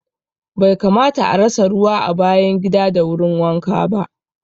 Bai kamata a rasa ruwa a bayan gida da wurin wanka ba